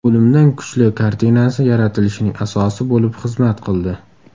O‘limdan kuchli” kartinasi yaratilishining asosi bo‘lib xizmat qildi.